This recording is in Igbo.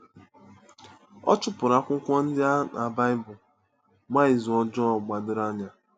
Ọ̀ chụpụrụ akwụkwọ ndị a na Baịbụl gba izu ọjọọ gbadoro anya.